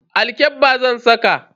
Alkyabba zan saka.